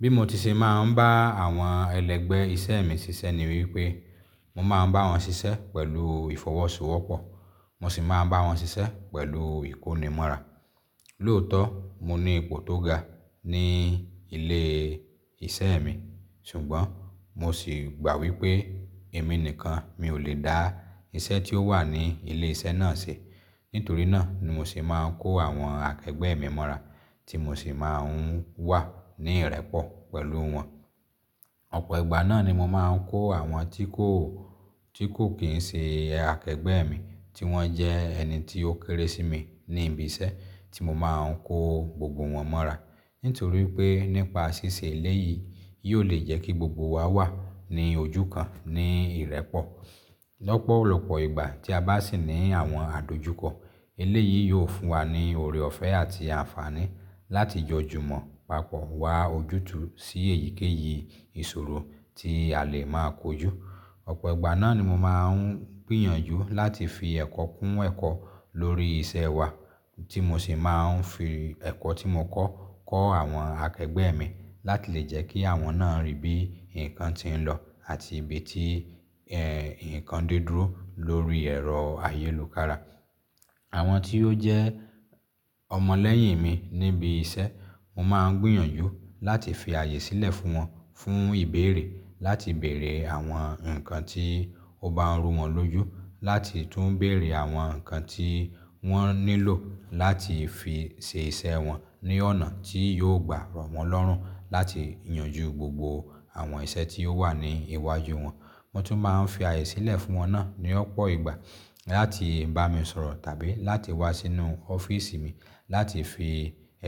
Bí mo ti ṣe máa ń bá àwọn ẹlẹgbẹ́ iṣẹ́ mi ṣiṣẹ́ ni wípé, mo máa ń bá wọn ṣiṣẹ́ pẹ̀lú ìfọwọ́sowọ́pọ̀, mo sì máa ń bá wọn ṣiṣẹ́ pẹ̀lú ìkónimọ́ra. Lóòótọ́, mo ní ipò tó ga ní ilé iṣẹ́ mi, ṣùgbọ́n mo sì gbà wípé èmi nìkan mi ò lè dá iṣẹ́ tí ó wà ní ilé iṣẹ́ náà ṣe. Nítorí náà ni mo sì máa ń kó àwọn akẹgbẹ́ mi mọ́ra tí mo sì máa ń wà ní ìrẹ́pọ̀ pẹ̀lú wọn. Ọ̀pọ̀ ìgbà náà ni mo máa ń kó àwọn tí kò, tí kò kì í ṣe akẹgbẹ́ mi tí wọ́n jẹ́ ẹni tí ó kéré sí mi ní ibi iṣẹ́, tí mo máa ń kó gbogbo wọn mọ́ra. Nítorí pé nípa ṣíṣe eléyìí, yóò lè jẹ́ kí gbogbo wa wà ní ojú kan ní ìrẹ́pọ̀. Lọ́pọ̀ olọ́pọ̀ ìgbà tí a bá sì ní àwọn àdojúkọ, eléyìí yóò fún wa ní ọ̀rẹ́ ọ̀fẹ́ àti àǹfààní láti jọ júmọ̀, pàpọ̀ wá ojútùú sí èyíkéyìí ìṣòro tí a lè máa kojú. Ọ̀pọ̀ ìgbà náà ni mo máa ń gbìyànjú láti fi ẹ̀kọ́ kún ẹ̀kọ́ lórí iṣẹ́ wa tí mo sì máa ń fi ẹ̀kọ́ tí mo kọ́ kọ́ àwọn akẹgbẹ́ mi láti lè jẹ́ kí àwọn náà rí bí ǹkan ti ń lọ àti ibi tí ẹ̀, ǹkan dé dúró lórí ẹ̀rọ ayélujára. Àwọn tí ó jẹ́ ọmọ lẹ́yìn mi níbi iṣẹ́, mo máa ń gbìyànjú láti fi ààyè sílẹ̀ fún wọn fún ìbéèrè láti bèèrè àwọn ǹkan tí ó bá ń rú wọn lójú, láti tún bèèrè àwọn ǹkan tí wọ́n nílò láti fi ṣe iṣẹ́ wọn ní ọ̀nà tí yóò gbà rọ̀ wọ́n lọ́rùn láti yanjú gbogbo àwọn iṣẹ́ tí ó wà ní iwájú wọn. Mo tún máa ń fi ààyè sílẹ̀ fún wọn náà ní ọ̀pọ̀ ìgbà láti bá mi sọ̀rọ̀ tàbí láti wá sínú ọ́fíísì mi láti fi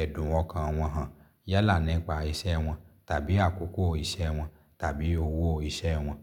ẹ̀dùn okan wọn hàn yálà nípa iṣẹ́ wọn tàbí àkókò iṣẹ́ wọn tàbí owó iṣẹ́ wọn.